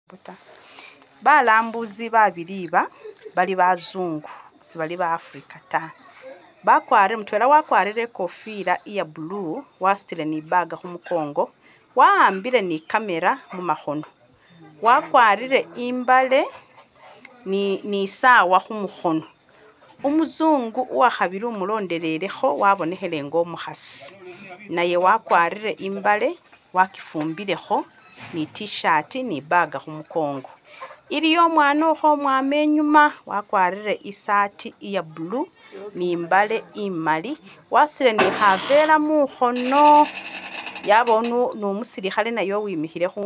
Balambuzi babili aba bali bazungu, sebaali ba'Africa ta bakwarire, mutwela wakwarire ikofila iya blue wasutile ne ibaga khumukongo wa'ambile ne i'camera mukhono wakwarire imbaale ne isaawa khumukhono, umuzungu uwakhabili umulondelelekho wabonekhele nga umukhaasi naye wakwarire imbaale wakifumbilekho ne i’tshirt ne ibaga khumukongo, iliyo umwana ukhwomwama inyuma, wakwarire isaati iye blue ne imbaale imaali wasutile ne khaveera mukhono yabaawo ne umusulukhale naye uwimikhile khundulo.